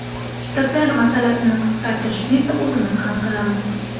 Shtatlar masalasini qisqartirishni esa o‘zimiz hal qilamiz.